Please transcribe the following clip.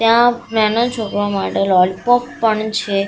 ત્યાં નાનો છોકરો માટે લોલીપોપ પણ છે.